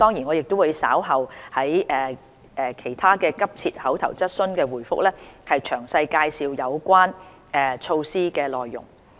我稍後答覆其他急切口頭質詢時會詳細介紹有關措施的內容。